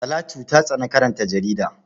Talatu ta tsani karanta jarida.